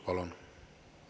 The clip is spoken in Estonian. Palun!